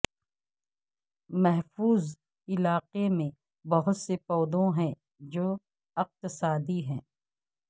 محفوظ علاقے میں بہت سے پودوں ہیں جو اقتصادی ہیں